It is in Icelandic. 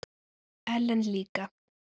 Ellen líka.